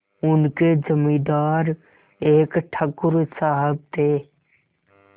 उनके जमींदार एक ठाकुर साहब थे